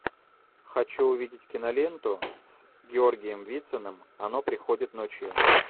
хочу увидеть киноленту с георгием вициным оно приходит ночью